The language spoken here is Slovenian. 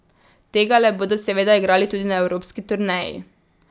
Tegale bodo seveda igrali tudi na evropski turneji.